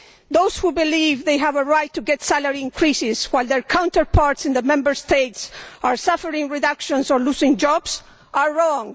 Those who believe they have a right to get salary increases while their counterparts in the Member States are suffering reductions or losing jobs are wrong.